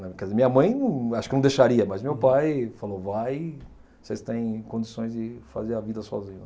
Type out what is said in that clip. Quer dizer, minha mãe acho que não deixaria, mas meu pai falou, vai, vocês tem condições de fazer a vida sozinho lá.